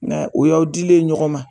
o y'aw dilen ye ɲɔgɔn ma.